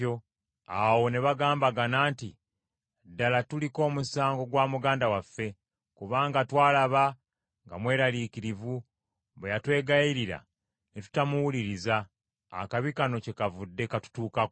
Awo ne bagambagana nti, “Ddala tuliko omusango gwa muganda waffe, kubanga twalaba nga mweraliikirivu, bwe yatwegayirira ne tutamuwuliriza; akabi kano kyekavudde katutuukako.”